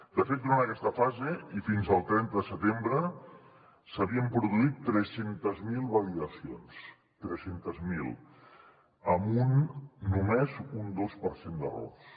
de fet durant aquesta fase i fins al trenta de setembre s’havien produït tres cents miler validacions tres cents miler amb només un dos per cent d’errors